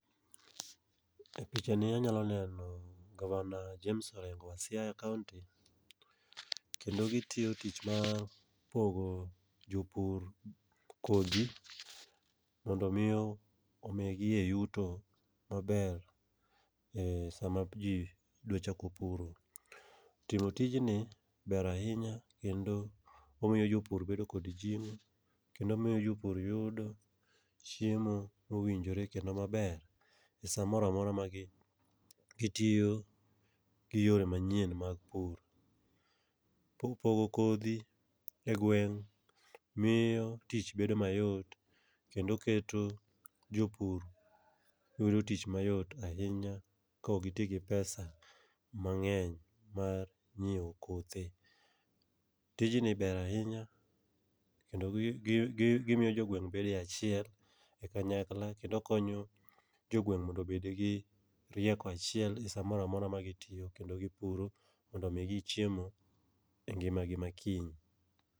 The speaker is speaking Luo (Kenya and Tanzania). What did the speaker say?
E picha ni anyalo neno gavana James Orengo wa Siaya County, kendo gitiyo tich mar pogo jopur kodhi mondo mi omigie yuto maber e sama ji dwa chako puro. Timo tijni ber ahinya kendo omiyo jopur bedo kod jing'o, kendo omiyo jopur yudo chiemo mowinjore kendo maber. E sa moramora ma gi gitiyo gi yore manyien mag pur. Po pogo kodhi e gweng' miyo tich bedo mayot kendo keto jopur yudo tich mayot ahinya ka ok giti gi pesa mang'enuy mar nyiewo kothe. Tijni ber ahinya kendo gi gi gimiyo jogweng' bedo e achiel e kanyakla. Kendo konyo jogweng' mondo obed gi rieko achiel e sa mora mora ma gitiyo kendo gipuro mondo omigi chiemo e ngima gi ma kiny.